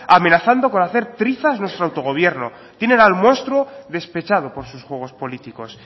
amenazando con hacer trizas nuestro autogobierno tienen al monstruo despechado por sus juegos políticos